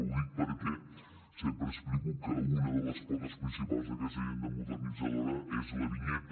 ho dic perquè sempre explico que una de les potes principals d’aquesta agenda modernitzadora és la vinyeta